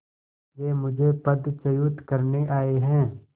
वे मुझे पदच्युत करने आये हैं